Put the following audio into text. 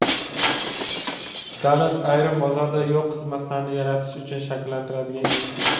Davlat - ayrim bozorda yo‘q xizmatlarni yaratish uchun shakllantiriladigan institut.